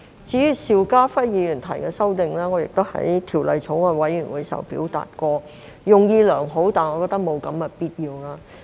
至於邵家輝議員提出的修正案，我在法案委員會時也表達過，他的用意是良好的，但我覺得沒有必要。